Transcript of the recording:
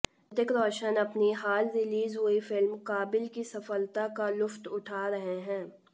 ऋतिक रोशन अपनी हाल रिलीज हुई फिल्म काबिल की सफलता का लुत्फ उठा रहे हैं